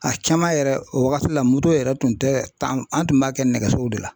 A caman yɛrɛ o wagati la moto yɛrɛ tun tɛ tan an tun b'a kɛ nɛgɛsow de la.